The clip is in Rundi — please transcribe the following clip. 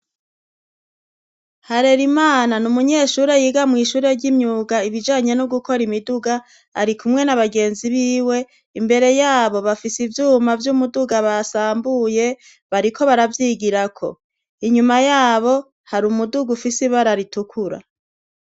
Harerimana ni umunyeshure yiga mw'ishure ry'imyuga ibijanye no gukora imiduga, arikumwe n'abagenzi biwe, imbere yabo bafise ivyuma vy'umuduga basambuye, bariko baravyigirako. Inyuma yabo hari umuduga ufise ibara ritukura.